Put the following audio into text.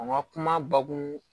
A ma kuma bakun